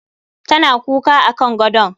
Tana kuka akan gadon